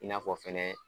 I n'a fɔ fɛnɛ